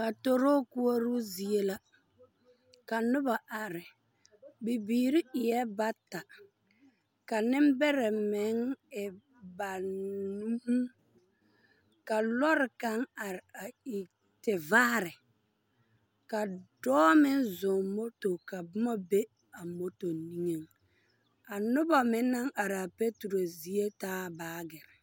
Patoroo koɔro zie la, ka noba are. Bibiiri eɛɛ bata. Ka nembɛrɛ meŋ e ba nnn. Ka lɔre kaŋ are a e tevaare. Ka dɔɔ meŋ zɔŋ moto a e tevaare. Ka dɔɔ meŋ zɔŋ moto ka boma be a moto niŋe. A noba meŋ naŋ are a patoroo zie taa baagerre.